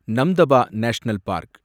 Namdapha national park